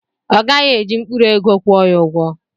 Ọ gaghị eji mkpụrụ ego kwụọ ya.